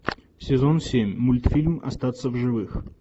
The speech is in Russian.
сезон семь мультфильм остаться в живых